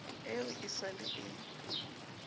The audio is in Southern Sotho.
eo e sa le e